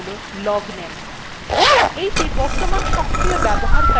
আরো একটি interesting variable হল logname